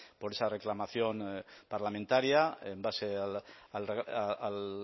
por esa reclamación parlamentaria en base al